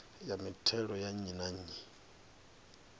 ya mithelo ya nnyi na